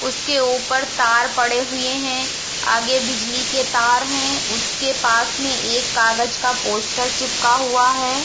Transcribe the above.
उसके ऊपर तार पड़े हुये है। आगे बिजली के तार है। उसके पास मे एक कगज का पोस्टर चिपका हुआ है।